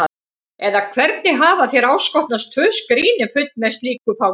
Eða hvernig hafa þér áskotnast tvö skríni full með slíku fágæti?